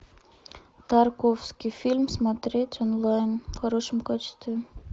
тарковский фильм смотреть онлайн в хорошем качестве